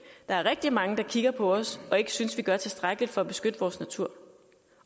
er rigtig mange der kigger på os og ikke synes vi gør tilstrækkeligt for at beskytte vores natur